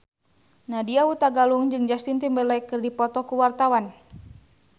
Nadya Hutagalung jeung Justin Timberlake keur dipoto ku wartawan